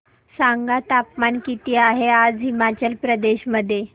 सांगा तापमान किती आहे आज हिमाचल प्रदेश मध्ये